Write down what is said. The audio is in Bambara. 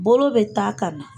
Bolo bɛ ta ka na.